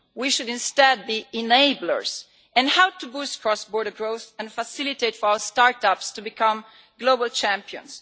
We should instead be enablers and help to boost cross-border growth and facilitate our start-ups to become global champions.